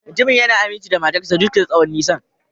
Mutumin yana aminci ga matar sa duk da tsawon nisan.